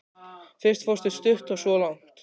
Fyrst fórstu stutt og svo langt.